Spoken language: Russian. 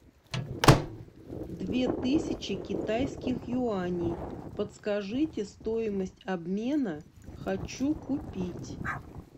две тысячи китайских юаней подскажите стоимость обмена хочу купить